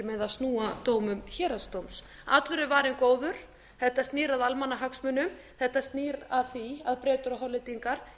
með að snúa dómum héraðsdóms allur er varinn góður þetta snýr að almannahagsmunum þetta snýr að því að bretar og hollendingar